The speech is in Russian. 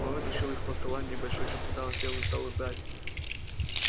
он вытащил из-под стола небольшой чемодан сел и стал ждать